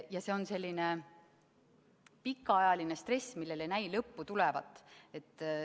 Ja see on selline pikaajaline stress, millel ei näi lõppu tulevat.